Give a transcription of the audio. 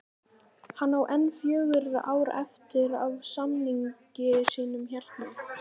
Hann á enn fjögur ár eftir af samningi sínum hérna